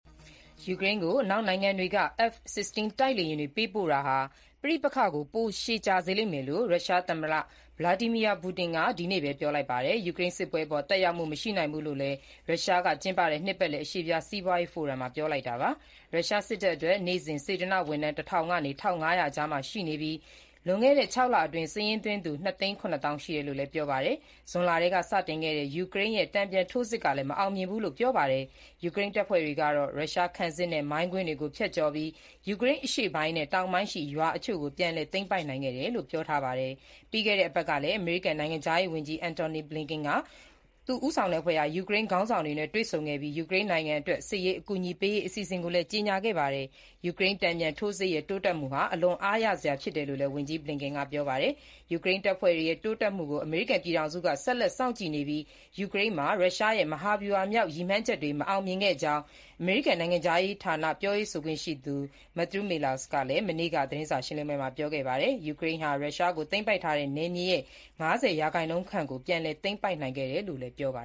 ယူကရိန်းကို အနောက်နိုင်ငံတွေက F-16 တိုက်လေယာဉ်တွေ ပေးပို့တာဟာ ပဋိပက္ခကို ပိုမိုရှည်ကြာစေလိမ့်မယ်လို့ ရုရှားသမ္မတ ဗလာဒီမီယာ ပူတင်က ဒီနေ့ပဲ ပြောလိုက်ပါတယ်။ ယူကရိန်းစစ်ပွဲအပေါ် သက်ရောက်မှု မရှိနိုင်ဘူးလို့လည်း ရုရှားက ကျင်းပတဲ့ နှစ်ပတ်လည် အရှေ့ဖျားစီးပွားရေးဖိုရမ်မှာ ပြောလိုက်တာပါ။ ရုရှားစစ်တပ်အတွက် နေ့စဉ် စေတနာ့ဝန်ထမ်း ၁၀၀၀ ကနေ ၁၅၀၀ အကြားမှာ ရှိနေပြီး၊ လွန်ခဲ့တဲ့ ၆ လအတွင်း စာရင်းသွင်းသူ ၂ သိန်း ၇ သောင်း ရှိတယ်လို့လည်း ပြောပါတယ်။ ဇွန်လထဲက စတင်ခဲ့တဲ့ ယူကရိန်းရဲ့ တန်ပြန်ထိုးစစ်ကလည်း မအောင်မြင်ဘူးလို့လည်း ပြောပါတယ်။ ယူကရိန်းတပ်ဖွဲ့တွေကတော့ ရုရှားခံစစ်နဲ့ မိုင်းကွင်းတွေကို ဖြတ်ကျော်ပြီး ယူကရိန်းအရှေ့ပိုင်းနဲ့ တောင်ပိုင်းရှိ ရွာအချို့ကို ပြန်လည်သိမ်းပိုက်နိုင်ခဲ့တယ်လို့ ပြောထားပါတယ်။ ပြီးခဲ့တဲ့ အပတ်ကလည်း အမေရိကန် နိုင်ငံခြားရေးဝန်ကြီး Antony Blinken ဦးဆောင်တဲ့အဖွဲ့ဟာ ယူကရိန်းခေါင်းဆောင်တွေနဲ့ တွေ့ဆုံခဲ့ပြီး၊ ယူကရိန်းနိုင်ငံအတွက် စစ်ရေးအကူအညီပေးရေး အစီအစဉ်ကိုလည်း ကြေညာခဲ့ပါတယ်။ ယူကရိန်းတန်ပြန်ထိုးစစ်ရဲ့ တိုးတက်မှုဟာ အလွန်အားရစရာ ဖြစ်တယ်လို့လည်း ဝန်ကြီး Blinken က ပြောပါတယ်။ ယူကရိန်းတပ်ဖွဲ့တွေရဲ့ တိုးတက်မှုကို အမေရိကန်ပြည်ထောင်စုက ဆက်လက်စောင့်ကြည့်နေပြီး၊ ယူကရိန်းမှာ ရုရှားရဲ့ မဟာဗျူဟာမြောက် ရည်မှန်းချက်တွေ မအောင်မြင်ခဲ့ကြောင်း အမေရိကန်နိုင်ငံခြားရေးဌာန ပြောရေးဆိုခွင့်ရှိသူ Matthew Miller ကလည်း မနေ့က သတင်းစာရှင်းလင်းပွဲမှာ ပြောကြားခဲ့ပါတယ်။ ယူကရိန်းဟာ ရုရှားတို့ သိမ်းပိုက်ထားတဲ့ နယ်မြေရဲ့ ၅၀ ရာခိုင်နှုန်းခန့်ကို ပြန်လည်သိမ်းပိုက်ခဲ့တယ်လို့လည်း ပြောပါ